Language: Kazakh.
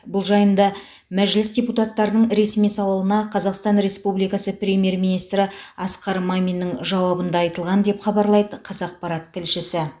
бұл жайында мәжіліс депутаттарының ресми сауалына қазақстан республикасы премьер министрі асқар маминнің жауабында айтылған деп хабарлайды қазақпарат тілшісі